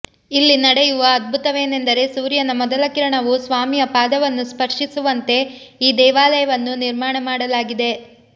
ಇಲ್ಲಿ ನಡೆಯುವ ಅದ್ಭುತವೇನೆಂದರೆ ಸೂರ್ಯನ ಮೊದಲ ಕಿರಣವು ಸ್ವಾಮಿಯ ಪಾದವನ್ನು ಸ್ಪರ್ಶಿಸುವಂತೆ ಈ ದೇವಾಲಯವನ್ನು ನಿರ್ಮಾಣ ಮಾಡಲಾಗಿದೆ